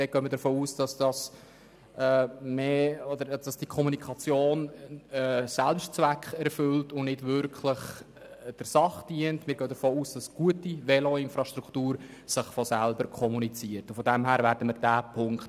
Dort gehen wir davon aus, dass die Kommunikation den Selbstzweck erfüllt und nicht wirklich der Sache dient.